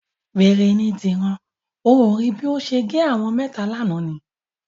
Wèrè ni Dìran. O ò rí bí ó ṣe gé àwọn mẹ́ta lánàá ni?